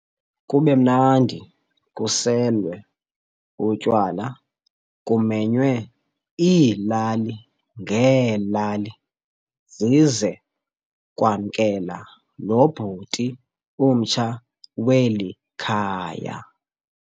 kubemnandi kuselwe utywala kumenywe iilali ngeelali zize kwamkela lo bhuti umtsha weli khaya.